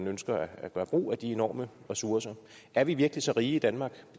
ønsker at gøre brug af de enorme ressourcer er vi virkelig så rige i danmark